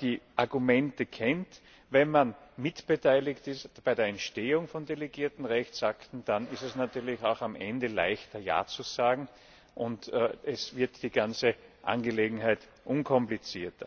die Argumente kennt, wenn man mitbeteiligt ist bei der Entstehung von delegierten Rechtsakten, dann ist es natürlich auch am Ende leichter, Ja zu sagen, und die ganze Angelegenheit wird unkomplizierter.